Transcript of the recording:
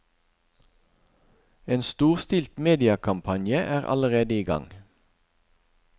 En storstilt mediekampanje er allerede i gang.